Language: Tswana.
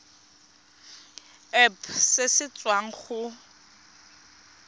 irp se se tswang go